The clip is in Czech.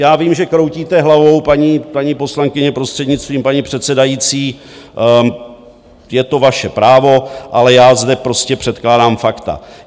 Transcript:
Já vím, že kroutíte hlavou, paní poslankyně, prostřednictvím paní předsedající, je to vaše právo, ale já zde prostě předkládám fakta.